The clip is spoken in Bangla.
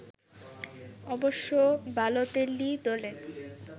অবশ্য বালোতেল্লি দলে